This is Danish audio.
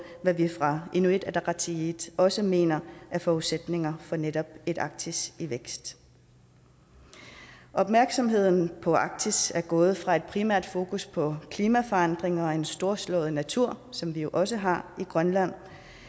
hvad vi fra inuit ataqatigiit også mener er forudsætninger for netop et arktis i vækst opmærksomheden på arktis er gået fra et primært fokus på klimaforandringer og en storslået natur som vi jo også har i grønland